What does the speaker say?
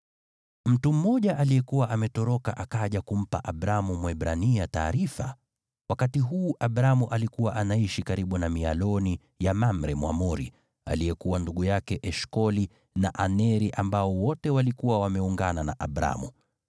Mtu mmoja aliyekuwa ametoroka akaja kumpa Abramu Mwebrania taarifa. Wakati huu Abramu alikuwa anaishi karibu na mialoni ya Mamre Mwamori, aliyekuwa ndugu yake Eshkoli na Aneri, ambao wote walikuwa wameungana na Abramu.